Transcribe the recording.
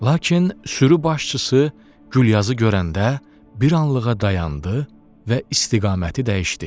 Lakin sürü başçısı Gülyazı görəndə bir anlığa dayandı və istiqaməti dəyişdi.